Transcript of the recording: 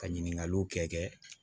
Ka ɲininkaliw kɛ